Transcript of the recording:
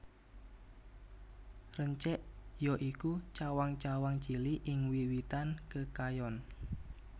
Rencek ya iku cawang cawang cilik ing wit witan kekayon